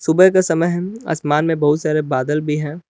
सुबह का समय है आसमान में बहुत सारे बादल भी हैं।